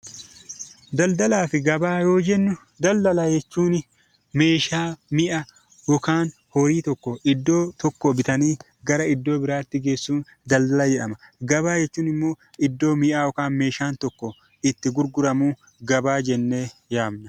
Daldalaa fi gabaa yoo jennu, daldala jechuun meeshaa, mi'a yookaan horii tokko iddoo tokkoo bitanii gara iddoo biraatti geessuun daldala jedhama. Gabaa jechuun immoo iddoo mi'a yookaan meeshaan tokko itti gurguramu gabaa jennee yaamna.